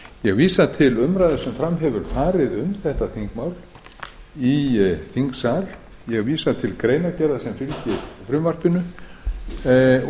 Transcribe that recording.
ég vísa til umræðu sem fram hefur farið um þetta þingmál í þingsal ég vísa til greinargerðar sem fylgir frumvarpinu og ætla